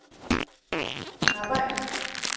arbejd